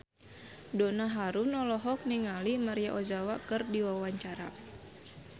Donna Harun olohok ningali Maria Ozawa keur diwawancara